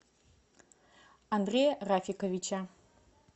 андрея рафиковича